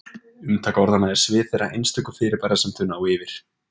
Umtak orðanna er svið þeirra einstöku fyrirbæra sem þau ná yfir.